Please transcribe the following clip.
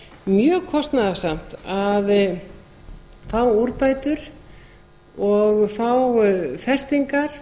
mjög kostnaðarsamt að fá úrbætur og fá festingar